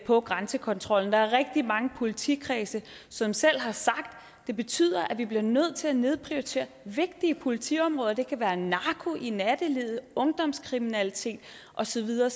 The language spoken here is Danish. på grænsekontrol der er rigtig mange politikredse som selv har sagt at det betyder at de bliver nødt til at nedprioritere vigtige politiområder det kan være narko i nattelivet ungdomskriminalitet og så videre